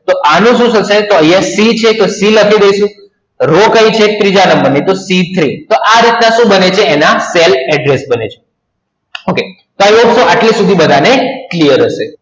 તો અનુ સુ થસે આયા c છે તો c લખી દઈસુ રો કઈ છે ત્રીજા નંબર ની t tree તો આ રીત ના સુ બને છે એના cell address બને છે i hope આટલે સુધી બધા ને clear હસે